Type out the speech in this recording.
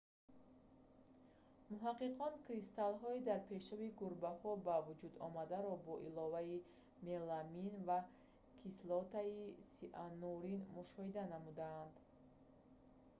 муҳаққиқон кристаллҳои дар пешоби гурбаҳо ба вуҷудомадаро бо иловаи меламин ва кислотаи сианурин мушоҳида намуданд